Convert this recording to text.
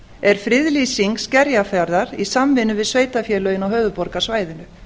er friðlýsing skerjafjarðar í samvinnu við sveitarfélögin á höfuðborgarsvæðinu